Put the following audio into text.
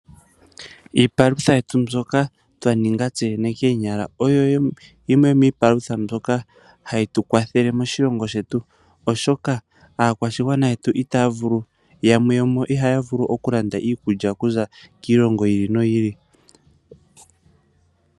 Iipalutha yetu mbyoka twa ninga tseyene koonyala, oyo yimwe yomiipalutha mbyoka hayi tu kwathele moshilongo shetu, oshoka aakwashigwana yetu yamwe yomuyo, ihaya vulu oku landa iikulya okuza kiilongo yi ili noyi ili.